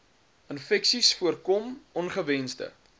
infeksies voorkom ongewensde